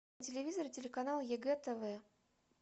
телевизор телеканал егэ тв